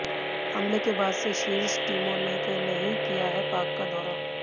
हमले के बाद से शीर्ष टीमों ने नहीं किया है पाक का दौरा